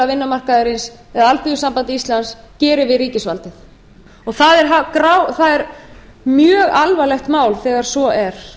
eða alþýðusamband íslands gerir við ríkisvaldið það er mjög alvarlegt mál þegar svo er